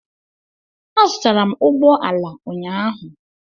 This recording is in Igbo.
Azụtara m ụgbọ ala ụnyahụ.